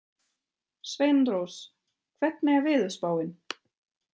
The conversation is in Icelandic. Sveinrós, hvernig er veðurspáin?